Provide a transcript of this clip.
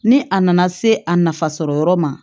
Ni a nana se a nafa sɔrɔ yɔrɔ ma